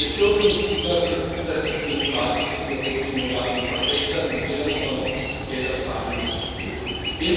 Wir dürfen nicht zulassen, dass sich die demokratische Situation in Moldau verschlechtert und wir dann aber noch Gelder zahlen, um das zu belohnen.